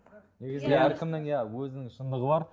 әркімнің иә өзінің шындығы бар